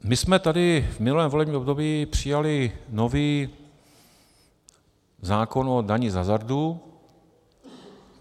My jsme tady v minulém volebním období přijali nový zákon o dani z hazardu.